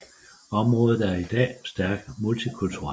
Området er i dag stærkt multikulturelt